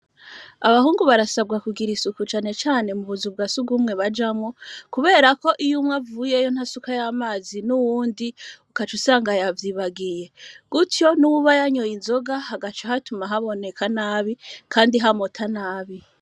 Abahungu barasabwa kugira isuku cane cane mu buzu bwasi ugumwe bajamwo, kubera ko iyo umwe avuyeyo ntasuka y'amazi n'uwundi ukaca usangayavyibagiye gutyo n'ubayanyoye inzoga hagaco hatuma haboneka nabi, kandi hamota nabi.